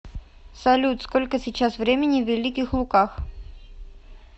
салют сколько сейчас времени в великих луках